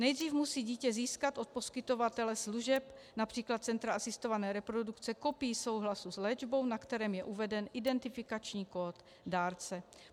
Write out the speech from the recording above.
Nejdřív musí dítě získat od poskytovatele služeb, například centra asistované reprodukce, kopii souhlasu s léčbou, na kterém je uveden identifikační kód dárce.